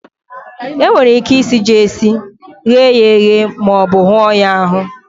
E nwere ike isi ji esi, ighe ya eghe, ma ọ bu hụọ ya ahụ.